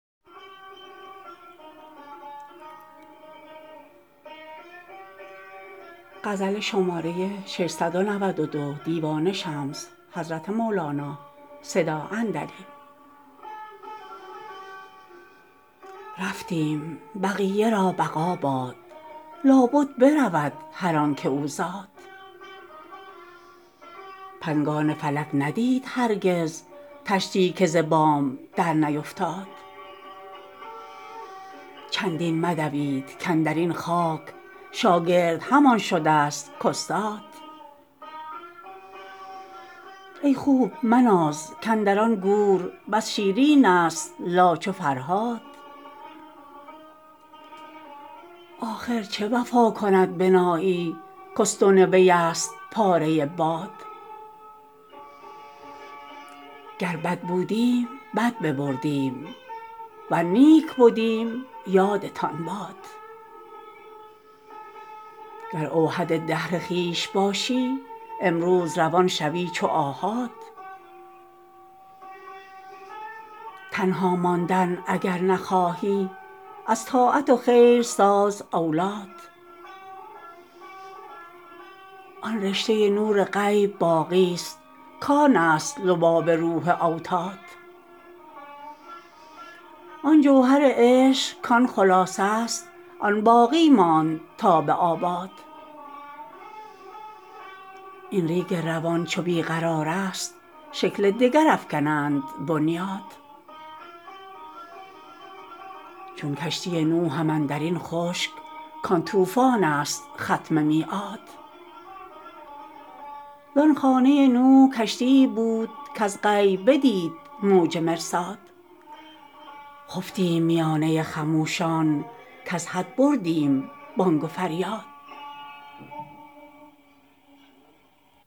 رفتیم بقیه را بقا باد لابد برود هر آنک او زاد پنگان فلک ندید هرگز طشتی که ز بام درنیفتاد چندین مدوید کاندر این خاک شاگرد همان شدست کاستاد ای خوب مناز کاندر آن گور بس شیرینست لا چو فرهاد آخر چه وفا کند بنایی کاستون ویست پاره ای باد گر بد بودیم بد ببردیم ور نیک بدیم یادتان باد گر اوحد دهر خویش باشی امروز روان شوی چو آحاد تنها ماندن اگر نخواهی از طاعت و خیر ساز اولاد آن رشته نور غیب باقیست کانست لباب روح اوتاد آن جوهر عشق کان خلاصه ست آن باقی ماند تا به آباد این ریگ روان چو بی قرارست شکل دگر افکنند بنیاد چون کشتی نوحم اندر این خشک کان طوفانست ختم میعاد زان خانه نوح کشتیی بود کز غیب بدید موج مرصاد خفتیم میانه خموشان کز حد بردیم بانگ و فریاد